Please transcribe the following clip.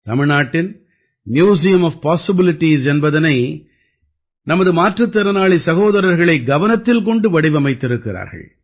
தமிழ்நாட்டின் museum of possibilities என்பதனை நமது மாற்றுத் திறனாளி சகோதரர்களை கவனத்தில் கொண்டு வடிவமைத்திருக்கிறார்கள்